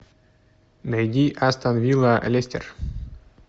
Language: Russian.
найди астон вилла лестер